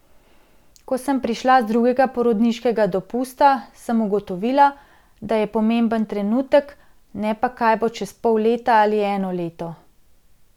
Ko sem prišla z drugega porodniškega dopusta, sem ugotovila, da je pomemben trenutek, ne pa kaj bo čez pol leta ali eno leto.